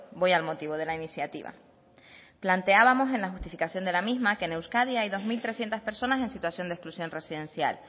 voy al motivo de la iniciativa planteábamos en la justificación de la misma que en euskadi hay dos mil trescientos personas en situación de exclusión residencial